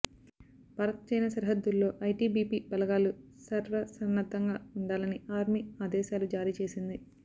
భారత్చైనా సరిహద్దుల్లో ఐటిబిపి బలగాలు స ర్వసన్నద్ధంగాఉండాలని ఆర్మీ ఆదేశాలు జారీ చేసింది